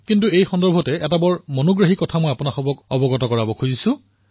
কিন্তু এই সন্দৰ্ভত এক আমোদজনক কথা মই আপোনালোকৰ সৈতে বিনিময় কৰিবলৈ বিচাৰিছো